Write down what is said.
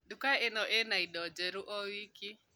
Nduka ĩno ĩna na indo njerũ o wiki